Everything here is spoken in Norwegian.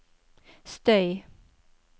støy